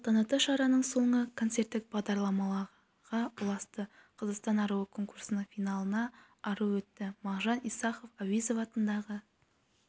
салтанатты шараның соңы концерттік бағдарламаға ұласты қазақстан аруы конкурсының финалына ару өтті мағжан исахов әуезов атындағы